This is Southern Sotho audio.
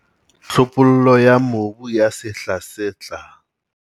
Tlhophollo ya mobu ya sehla se tlang